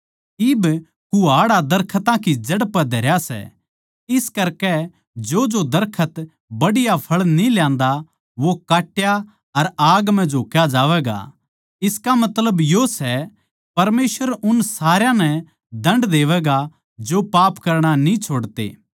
इब कुहाड़ा दरखतां की जड़ पै धरया सै इस करकै जोजो दरखत बढ़िया फळ न्ही ल्यांदा वो काट्या अर आग म्ह झोक्या जावैगा इसका मतलब यो सै परमेसवर उन सारया नै दण्ड देवैगा जो पाप करणा न्ही छोड़ते